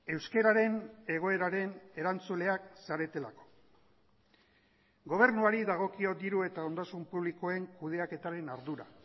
euskararen egoeraren erantzuleak zaretelako gobernuari dagokio diru eta ondasun publikoen kudeaketaren ardura